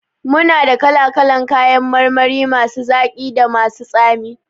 Muna da kala kalan kayan marmari masu zaki da masu tsami